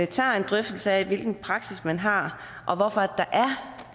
tager en drøftelse af hvilken praksis man har og hvorfor der er